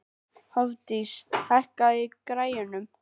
Hofdís, hækkaðu í græjunum.